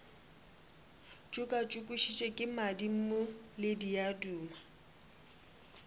tšokatšokišwe ke madimo le diaduma